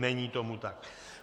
Není tomu tak.